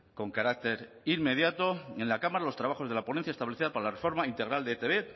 con carácter inmediato en la cámara los trabajos de la ponencia establecida para la reforma integral de etb